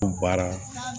baara